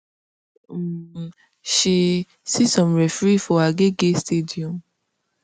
um she see some referee for agege stadium